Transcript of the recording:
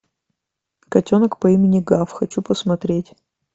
котенок по имени гав хочу посмотреть